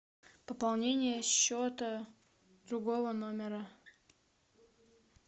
пополнение счета другого номера